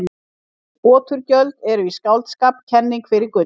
Oturgjöld eru í skáldskap kenning fyrir gull.